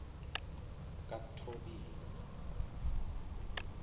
kathobile